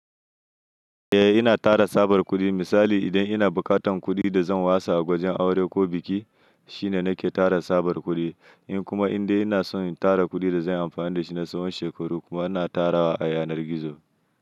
Eh ina tara tsabar kuɗi. Misali idan ina bukatan kuɗi da zan wasa a wajen aure ko biki shine nake tara tsabar kuɗi. In kuma indai ina son in tara kuɗi da zanyi amfani da shi na tsawon shekaru kuma ina tarawa a yanar gizo.